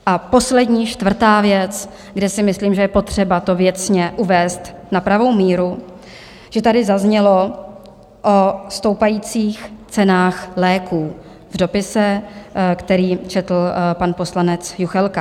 A poslední, čtvrtá věc, kde si myslím, že je potřeba to věcně uvést na pravou míru, že tady zaznělo o stoupajících cenách léků v dopise, který četl pan poslanec Juchelka.